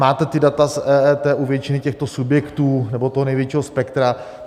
Máte ta data z EET u většiny těchto subjektů nebo toho největšího spektra.